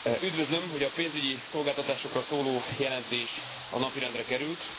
Üdvözlöm, hogy a pénzügyi szolgáltatásokról szóló jelentés a napirendre került.